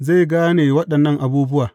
Zai gane waɗannan abubuwa.